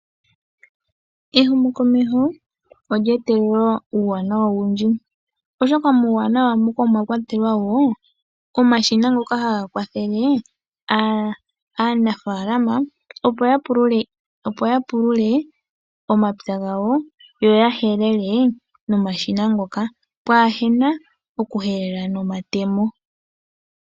Ehumokomeho olye etelela uuwanawa owundji oshoka muuwanawa muka omwa kwatelwa wo omashina ngoka haga kwathele aanafalama opo ya pulule omapya gawo, yoya helele nomashina ngoka pwa hena oku helela nomatemo.